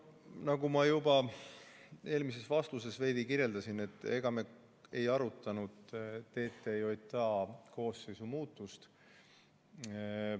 Nagu ma juba eelmises vastuses veidi kirjeldasin, me ei arutanud TTJA koosseisu muutust.